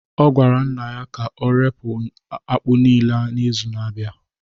ọ gwara nna ya ka ọ ree akpu niile n’izu na-abịa